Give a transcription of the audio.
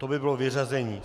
To by bylo vyřazení.